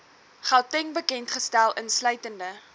gauteng bekendgestel insluitende